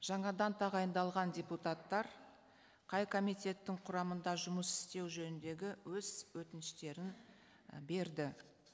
жаңадан тағайындалған депутаттар қай комитеттің құрамында жұмыс істеу жөніндегі өз өтініштерін і берді